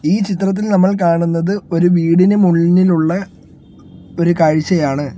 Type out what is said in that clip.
ഈ ചിത്രത്തിൽ നമ്മൾ കാണുന്നത് ഒരു വീടിന് മുന്നിലുള്ള ഒരു കാഴ്ചയാണ്.